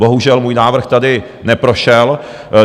Bohužel můj návrh tady neprošel.